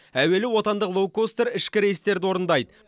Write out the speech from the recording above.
әуелі отандық лоукостер ішкі рейстерді орындайды